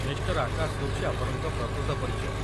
Mr. Akash ହେଉଛି ଆପଣଙ୍କ ପ୍ରକୃତ ପରିଚୟ